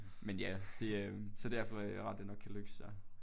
Men ja det øh så derfor er det rart at det nok kan løse sig